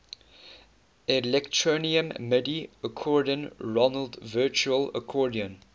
electronium midi accordion roland virtual accordion